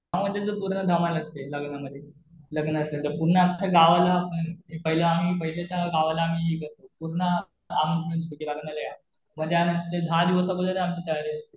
हा म्हणजे जसं पूर्ण जमान्यातले लग्नामध्ये. लग्न असेल तर पूर्ण अख्ख गावाला पहिलं आम्ही, पहिल्याच्या गावाला आम्ही पूर्ण आमंत्रण द्यायचो कि लग्नाला या. म्हणजे आम्ही दहा दिवस अगोदर आमची तयारी.